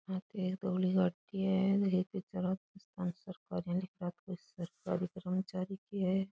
आ तो एक धोली गाड़ी है सरकारी कर्मचारी की है।